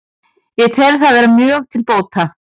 Ég tel það vera mjög til bóta